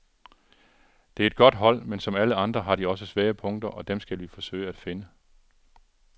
Det er et godt hold, men som alle andre har de også svage punkter, og dem skal vi forsøge at finde.